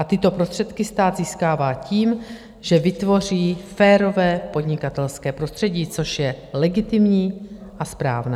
A tyto prostředky stát získává tím, že vytvoří férové podnikatelské prostředí, což je legitimní a správné.